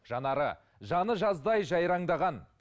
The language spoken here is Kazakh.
жанары жаны жаздай жайраңдаған